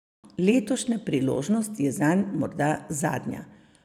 Letošnja priložnost je zanj morda zadnja.